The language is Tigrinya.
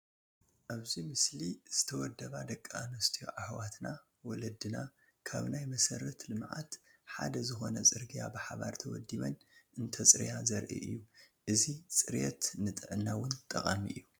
ኣብዚ ምስሊ ዝተወደባ ደቂ ኣንስትዮ ኣሕዋትና/ወለድና ካብ ናይ መሰረተ ልምዓት ሓደ ዝኾነ ፅርግያ ብሓባር ተወዲበን እንተፅርያ ዘርኢ እዩ፡፡ አዚ ፅርየት ንጥዕና ውን ጠቓሚ እዩ፡፡